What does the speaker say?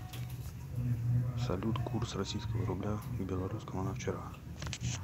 салют курс российского рубля к белорусскому на вчера